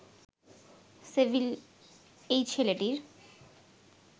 civil এই ছেলেটির